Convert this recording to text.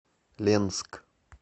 ленск